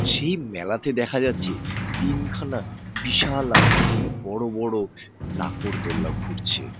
সেই মেলাতে দেখা যাচ্ছে তিনখানা বিশাল আকৃতির বড় বড় নাকরদোলনা ঘুরছে ।